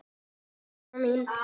Bless amma mín.